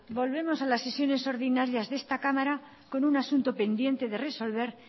volvemos a las sesiones ordinarias de esta cámara con un asunto pendiente de resolver